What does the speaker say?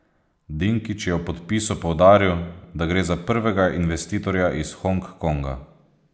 Dinkić je ob podpisu poudaril, da gre za prvega investitorja iz Hong Konga.